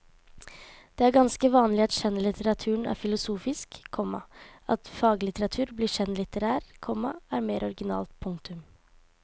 Det er ganske vanlig at skjønnlitteraturen er filosofisk, komma at faglitteratur blir skjønnlitterær, komma er mer originalt. punktum